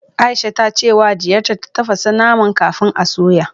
Aisha ta ce wa diyarta ta tafasa naman kafin a soya